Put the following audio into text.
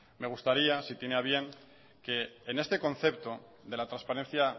me gustaría si tiene a bien que en este concepto de la transparencia